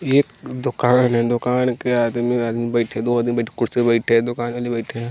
एक दुकान है दुकान के आदमी आदमी बैठे है दो आदमी बैठे कुर्सी पर बैठे है दुकान वाले बैठे हैं।